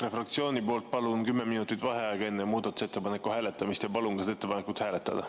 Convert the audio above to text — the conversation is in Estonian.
EKRE fraktsiooni poolt palun 10 minutit vaheaega enne muudatusettepaneku hääletamist ja palun ka seda ettepanekut hääletada.